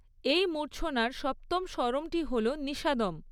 এই মূর্ছনার সপ্তম স্বরমটি হল নিষাদম।